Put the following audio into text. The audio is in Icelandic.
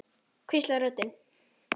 hvíslar röddin.